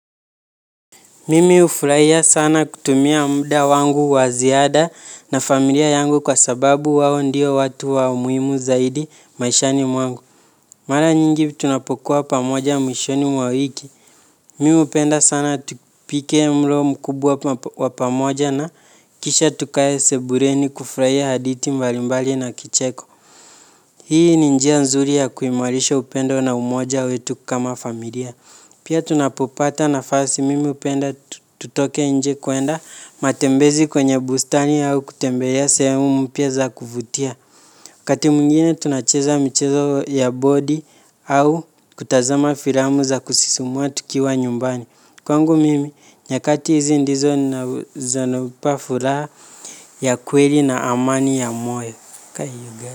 Mimi ufuraia sana kutumia mda wangu wa ziada na familia yangu kwa sababu wao ndiyo watu wa umuimu zaidi maishani mwangu. Mara nyingi tunapokuwa pamoja mwishoni mwa wiki. Mimi upenda sana tupike mlo mkubwa wa pamoja na kisha tukae sebureni kufuraia haditi mbalimbali na kicheko. Hii ni njia nzuri ya kuimarisha upendo na umoja wetu kama familia. Pia tunapopata nafasi mimi upenda tutoke nje kuenda matembezi kwenye bustani au kutembelea sehemu mpya za kuvutia. Kati mwingine tunacheza michezo ya bodi au kutazama firamu za kusisumua tukiwa nyumbani. Kwangu mimi nyakati hizi ndizo na zanopa furaa ya kweli na amani ya moyo.